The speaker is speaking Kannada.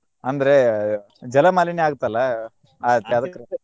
ಅಂದ್ರ ಜಲಮಾಲಿನ್ಯ ಆಗತ್ತಲಾ .